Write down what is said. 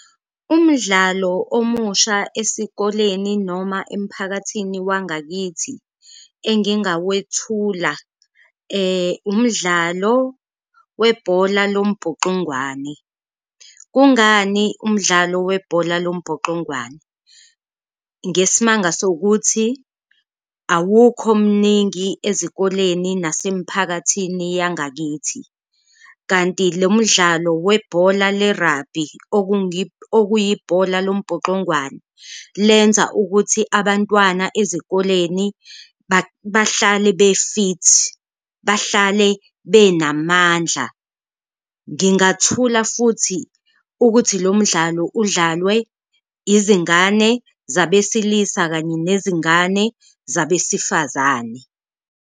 Umdlalo omusha esikoleni noma emphakathini wangakithi engingawethula umdlalo webhola lombhuxungwane, kungani umdlalo webhola lombhoxongwane? Ngesimanga sokuthi awukho mningi ezikoleni nasemphakathini yangakithi, kanti lo mdlalo webhola lerabhi okuyibhola lombhoxongwane lenza ukuthi abantwana ezikoleni bahlale be-fit, bahlale benamandla. Ngingathula futhi ukuthi lo mdlalo udlalwe izingane zabesilisa kanye nezingane zabesifazane.